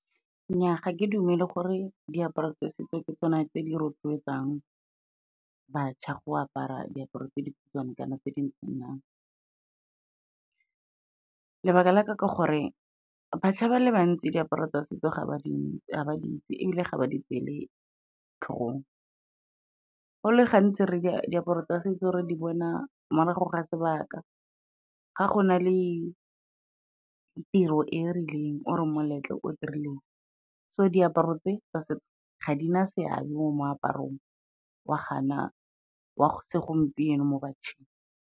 Nnyaa, ga ke dumele gore diaparo tsa setso ke tsona tse di rotloetsang bašwa go apara diaparo tse dikhutshwane kana tse . Lebaka la ka ka gore batšwa ba le bantsi diaparo tsa setso ga ba di itsi ebile ga ba di tsele tlhogong. Go le gantsi diaparo tsa setso re di bona morago ga sebaka, ga go na le tiro e rileng or-e moletlo o dirileng, so diaparo tse tsa setso ga di na seabe mo moaparong wa segompieno mo bašweng.